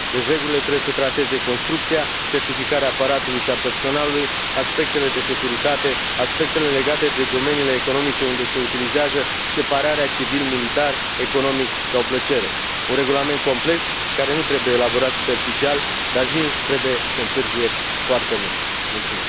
Deci regulile trebuie să trateze construcția, certificarea aparatului și a personalului, aspectele de securitate, aspectele legate de domeniile economice unde se utilizează, separarea civil, militar, economic sau plăcere, un regulament complex care nu trebuie elaborat superficial, dar nici nu trebuie să întârzie foarte mult.